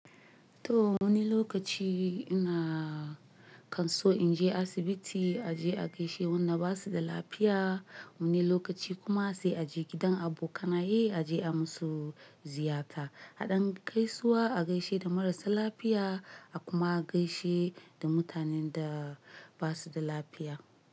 To wani lokaci ina kam so in je asibiti a je a gaishe da wanda ba su da lafiya. Wani lokaci kuma sai a je gidan abokanai a je a musu ziyara. Haɗin gaisuwa a gaishe da marasa lafiya a kuma gaishe da mutanen da ba su da lafiya.